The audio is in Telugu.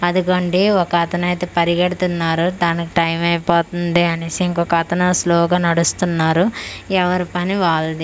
అదిగోండి ఒక అతనైతే పరిగెడుతున్నారు తనకు టైమై పోతుంది అనేసి ఇంకోతను స్లోగా నడుస్తున్నారు ఎవరి పని వాళ్లది.